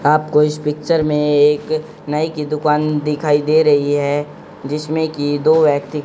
आपको इस पिक्चर में एक नाई की दुकान दिखाई दे रही है जिसमें की दो व्यक्ति--